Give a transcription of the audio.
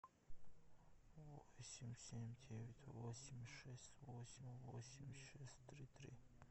восемь семь девять восемь шесть восемь восемь шесть три три